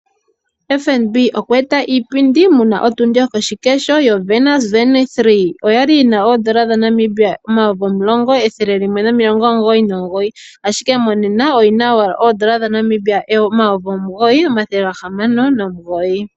FNB okweeta iipindi muna otundi yokoshikesho yo Garmin Venu 3, oyali yina N$ 10199 ashike monena oyina owala N$ 9699.